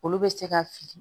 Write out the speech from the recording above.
Olu bɛ se ka fili